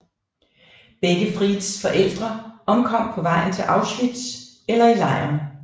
Begge Frieds forældre omkom på vejen til Auschwitz eller i lejren